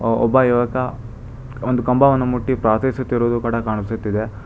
ಒಬ್ಬ ಯುವಕ ಒಂದು ಕಂಬವನ್ನು ಮುಟ್ಟಿ ಪ್ರಾರ್ಥಿಸುತ್ತಿರುವುದು ಕೂಡ ಕಾಣಿಸುತ್ತಿದೆ.